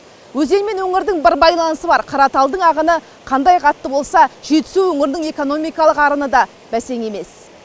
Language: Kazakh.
өзен мен өңірдің бір байланысы бар қараталдың ағыны қандай қатты болса жетісу өңірінің экономикалық ағыны да бәсең емес